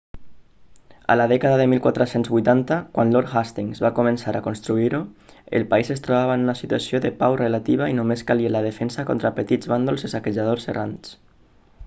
a la dècada de 1480 quan lord hastings va començar a construir-ho el país es trobava en una situació de pau relativa i només calia la defensa contra petits bàndols de saquejadors errants